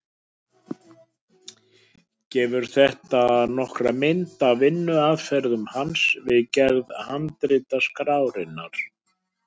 Gefur þetta nokkra mynd af vinnuaðferð hans við gerð handritaskrárinnar.